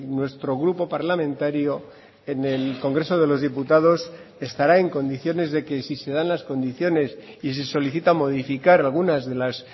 nuestro grupo parlamentario en el congreso de los diputados estará en condiciones de que si se dan las condiciones y se solicita modificar algunas de las